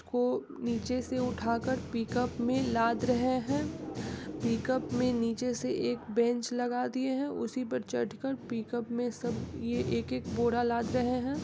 को नीचे से उठाकर पिकअप में लाद रहे हैं। पिकअप में नीचे से एक बेंच लगा दिए हैं उसी पर चढ़ कर पिकअप में सब ये एक-एक बोरा लाद रहे हैं।